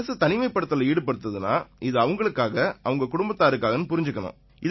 அரசு தனிமைப்படுத்தல்ல ஈடுபடுத்துதுன்னா இது அவங்களுக்காக அவங்க குடும்பத்தாருக்காகன்னு புரிஞ்சுக்கணும்